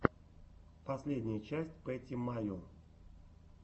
последняя часть пэтти майо